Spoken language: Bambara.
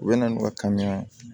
U bɛ na n'u ka kamiya ye